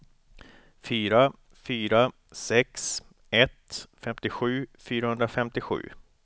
fyra fyra sex ett femtiosju fyrahundrafemtiosju